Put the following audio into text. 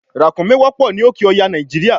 ràkúnmí wọ́pọ̀ ní òké ọya nàìjíríà